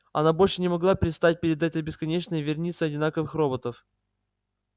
она больше не могла предстать перед этой бесконечной верницей одинаковых роботов